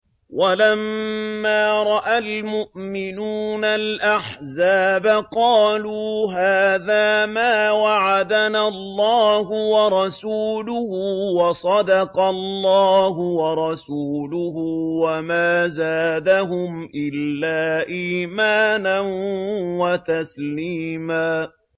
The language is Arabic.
وَلَمَّا رَأَى الْمُؤْمِنُونَ الْأَحْزَابَ قَالُوا هَٰذَا مَا وَعَدَنَا اللَّهُ وَرَسُولُهُ وَصَدَقَ اللَّهُ وَرَسُولُهُ ۚ وَمَا زَادَهُمْ إِلَّا إِيمَانًا وَتَسْلِيمًا